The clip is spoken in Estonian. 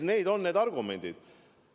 Need on need argumendid.